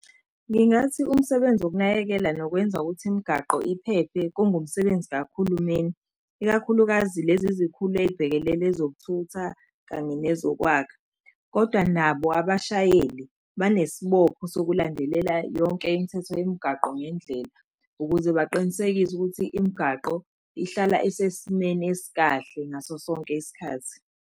Ngingathi umsebenzi okunakekela nokwenza ukuthi imigaqo iphephe kungumsebenzi kahulumeni, ikakhulukazi lezi zikhulu ey'bhekelele ezokuthutha kanye nezokwakha. Kodwa nabo abashayeli banesibopho sokulandelela yonke imithetho yemigaqo ngendlela, ukuze baqinisekise ukuthi imigaqo ihlala isesimeni esikahle ngaso sonke isikhathi.